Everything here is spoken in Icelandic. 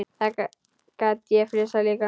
Þá gat ég flissað líka.